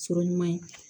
Sɔrɔ ɲuman ye